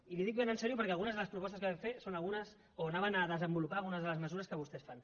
i li ho dic ben seriosament perquè algunes de les propostes que vam fer són algunes o anaven a desenvolupar algunes de les mesures que vostès fan